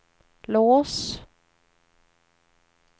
lås